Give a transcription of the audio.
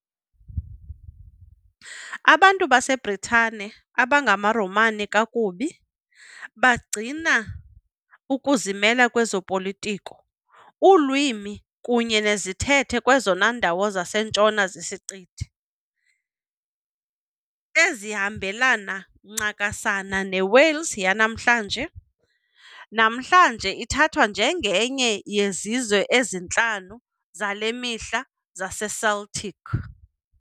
Abantu baseBritane, abangamaRomani kakubi, bagcina ukuzimela kwezopolitiko, ulwimi kunye nezithethe kwezona ndawo zisentshona zesiqithi, ezihambelana ncakasana neWales yanamhlanje- namhlanje ithathwa njengenye yezizwe ezintlanu zale mihla zaseCeltic.